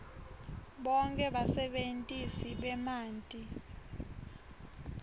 bonkhe basebentisi bemanti